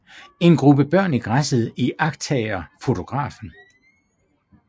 En gruppe børn i græsset iagttager fotografen